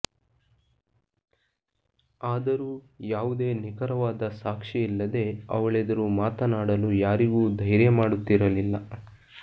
ಆದರೂ ಯಾವುದೇ ನಿಖರವಾದ ಸಾಕ್ಷಿಯಿಲ್ಲದೆ ಅವಳೆದುರು ಮಾತನಾಡಲು ಯಾರಿಗೂ ಧೈರ್ಯ ಮಾಡುತ್ತಿರಲಿಲ್ಲ